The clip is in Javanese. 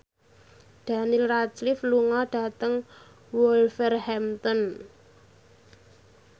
Daniel Radcliffe lunga dhateng Wolverhampton